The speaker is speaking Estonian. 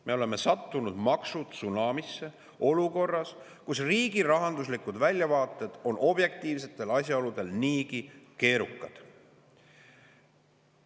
Me oleme sattunud maksutsunamisse olukorras, kus riigi rahanduslikud väljavaated on objektiivsetel asjaoludel niigi keerukad.